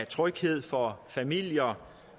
tryghed for familier